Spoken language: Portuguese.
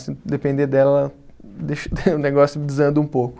Se depender dela, deixa o negócio desanda um pouco.